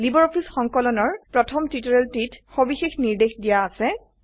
LibreOffice সংকলন ৰ প্ৰথম টিউটোৰিয়েলটিতে সবিশেষ নিৰ্দেশ দিয়া আছে